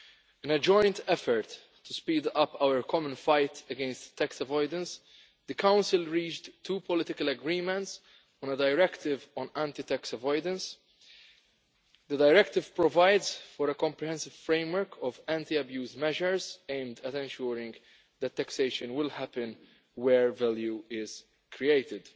In a joint effort to speed up our common fight against tax avoidance, the Council reached two political agreements on an Anti Tax Avoidance Directive. The directive provides for a comprehensive framework of anti abuse measures aimed at ensuring that taxation will happen where value is created.